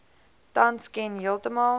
tans ken heeltemal